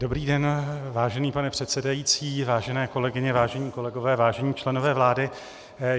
Dobrý den, vážený pane předsedající, vážené kolegyně, vážení kolegové, vážení členové vlády.